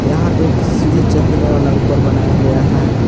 यहां एक सीढ़ी चहग्ने वाला ऊपर बनाया गया है।